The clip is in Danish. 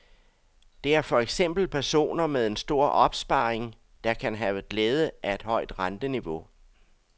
Det er for eksempel personer med en stor opsparing, der kan have glæde af et højt renteniveau.